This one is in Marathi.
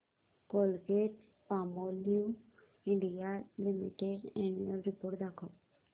Colgate Palmolive India limited annual report दाखव